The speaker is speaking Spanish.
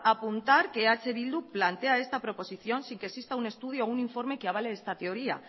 apuntar que eh bildu plantea esta proposición sin que exista un estudio o un informe que avale esta teoría